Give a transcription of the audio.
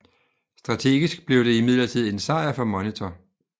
Strategisk blev det imidlertid en sejr for Monitor